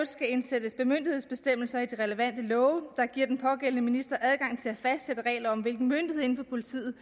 skal indsættes bemyndigelsesbestemmelser i de relevante love der giver den pågældende minister adgang til at fastsætte regler om hvilken myndighed inden for politiet